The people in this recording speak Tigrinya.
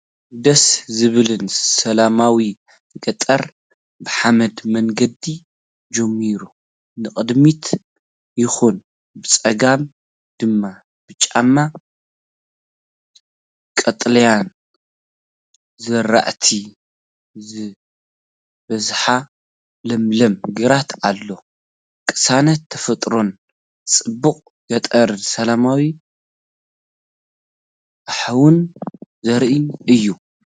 ደስ ዘብልን ሰላማውን ገጠር፣ ብሓመድ መንገዲ ጀሚሩ ንቕድሚት ይኸይድ። ብጸጋም ድማ ብጫን ቀጠልያን ዝራእቲ ዝበዝሖ ለምለም ግራት ኣሎ። ቅሳነት ተፈጥሮን ጽባቐ ገጠርን ሰላማዊ ሃዋህውን ዘርኢ እዩ።